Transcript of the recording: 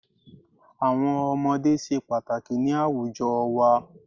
Àwọn ọmọdé se pàtàkì ni àwùjo wa